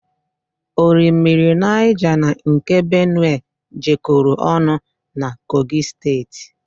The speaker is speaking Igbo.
Orimmiri Niger na nke Benue jekoro ọnụ na Kogi steeti